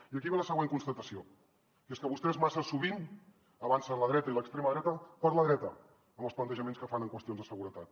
i aquí ve la següent constatació que és que vostès massa sovint avancen la dreta i l’extrema dreta per la dreta amb els plantejaments que fan en qüestions de seguretat